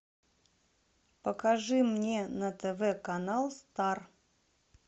покажи мне на тв канал стар